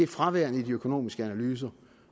fraværende i de økonomiske analyser